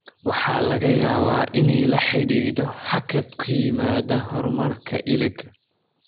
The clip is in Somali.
Waxa laga yaabaa inay la xidhiidho hakad ku yimaadda horumarka iliga.